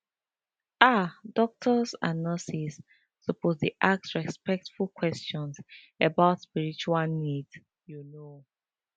ah doctors and nurses suppose dey ask respectful questions about spiritual needs you know